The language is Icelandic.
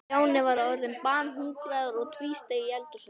Stjáni var orðinn banhungraður og tvísteig í eldhúsinu.